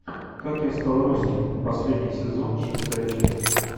как я стал русским последний сезон шестая часть